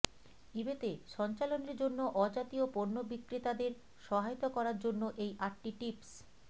ইবেতে সঞ্চালনের জন্য অজাতীয় পণ্য বিক্রেতাদের সহায়তা করার জন্য এই আটটি টিপস